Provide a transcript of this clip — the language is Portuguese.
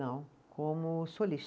Não, como